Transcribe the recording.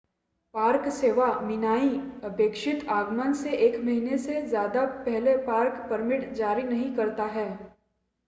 park सेवा minae अपेक्षित आगमन से एक महीने से ज़्यादा पहले पार्क परमिट जारी नहीं करता है